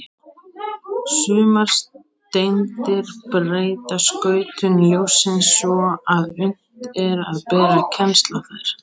Sumar steindir breyta skautun ljóssins svo að unnt er að bera kennsl á þær.